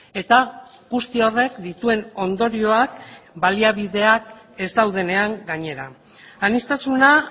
eta guzti horrek dituen ondorioak baliabideak ez daudenean gainera aniztasuna